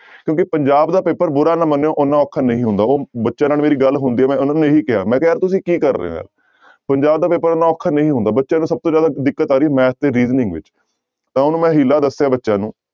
ਕਿਉਂਕਿ ਪੰਜਾਬ ਦਾ ਪੇਪਰ ਬੁਰਾ ਨਾ ਮੰਨਿਓ ਓਨਾ ਔਖਾ ਨਹੀਂ ਹੁੰਦਾ ਉਹ ਬੱਚਿਆਂ ਨਾਲ ਮੇਰੀ ਗੱਲ ਹੁੰਦੀ ਹੈ ਮੈਂ ਉਹਨਾਂ ਨੂੰ ਇਹੀ ਕਿਹਾ ਮੈਂ ਕਿਹਾ ਯਾਰ ਤੁਸੀਂ ਕੀ ਕਰ ਰਹੇ ਹੋ ਯਾਰ ਪੰਜਾਬ ਦਾ ਪੇਪਰ ਇੰਨਾ ਔਖਾ ਨਹੀਂ ਹੁੰਦਾ, ਬੱਚਿਆਂ ਨੂੰ ਸਭ ਤੋਂ ਜ਼ਿਆਦਾ ਦਿੱਕਤ ਆ ਰਹੀ math ਤੇ reasoning ਵਿੱਚ, ਤਾਂ ਉਹਨੂੰ ਮੈਂ ਹੀਲਾ ਦੱਸਿਆ ਬੱਚਿਆਂ ਨੂੰ